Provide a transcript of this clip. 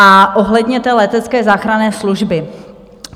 A ohledně té letecké záchranné služby.